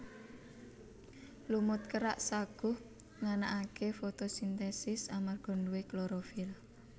Lumut kerak saguh nganakake fotosintesis amarga nduwe klorofil